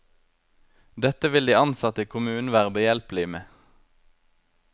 Dette vil de ansatte i kommunen være behjelpelige med.